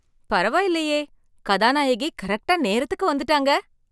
பரவாயில்லையே கதாநாயகி கரெக்டா நேரத்துக்கு வந்துட்டாங்க!